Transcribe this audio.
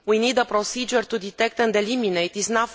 We need a procedure to detect and eliminate these.